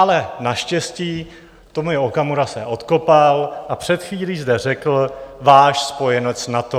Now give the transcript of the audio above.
Ale naštěstí Tomio Okamura se odkopal a před chvílí zde řekl: Váš spojenec NATO.